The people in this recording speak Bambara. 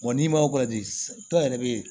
n'i ma dɔ yɛrɛ bɛ yen